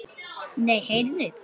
Nei, heyrðu.